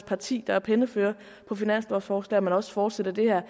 parti der er pennefører på finanslovforslag man også fortsætter det her